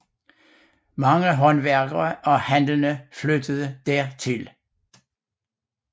Mange håndværkere og handlende flyttede dertil